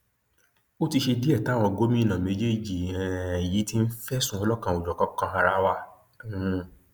ó ti ṣe díẹ táwọn gómìnà méjèèjì um yìí ti ń fẹsùn ọlọkanòjọkan kan ara wa um